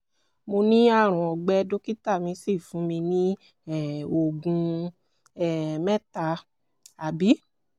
mo ní àrùn ọgbẹ dókítà mi sì fún mi ní um oògùn um mẹ́ta um